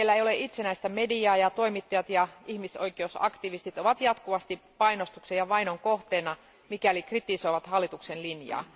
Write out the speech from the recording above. Siellä ei ole itsenäistä mediaa ja toimittajat ja ihmisoikeusaktivistit ovat jatkuvasti painostuksen ja vainon kohteena, mikäli kritisoivat hallituksen linjaa.